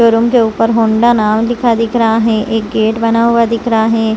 Room के ऊपर Honda नाम लिखा दिख रहा है एक गेट बना हुआ दिख रहा है।